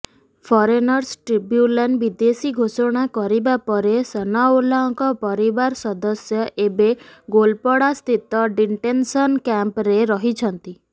foreigners tribunal ବିଦେଶୀ ଘୋଷଣା କରିବାପରେ ସନାଉଲ୍ଲାହଙ୍କ ପରିବାର ସଦସ୍ୟ ଏବେ ଗୋଲପଡ଼ାସ୍ଥିତ ଡିଣ୍ଟେନସନ୍ କ୍ୟାମ୍ପ୍ରେ ରହିଛନ୍ତି